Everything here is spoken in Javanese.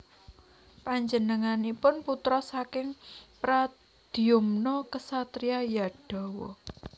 Panjenenganipun putra saking Pradyumna kesatria Yadawa